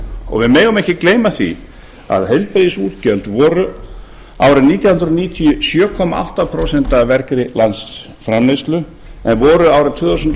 og við megum ekki gleyma því að heilbrigðisútgjöld voru árið nítján hundruð níutíu sjö komma átta prósent af vergri landsframleiðslu en voru árið tvö þúsund og